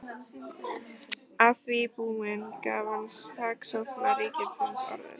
Að því búni gaf hann saksóknara ríkisins orðið.